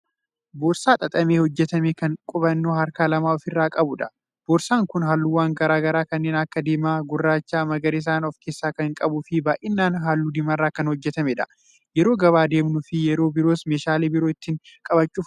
Boorsaa xaxamee hojjatame Kan qabannoo harkaan lama ofirraa qabudha. boorsaan Kun halluuwwan garagaraa kanneen Akka diimaa, gurraachaa, magariisaan of kaassaa Kan qabuufi baay'inaan halluu diimarraa Kan hojjatameedha. yerooo gabaa deemnufi yeroo biroos meeshaaleen biroo ittin qabachuuf oola.